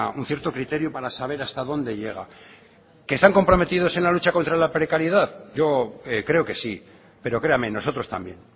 un cierto criterio para saber hasta dónde llega que están comprometidos en la lucha contra la precariedad yo creo que sí pero créame nosotros también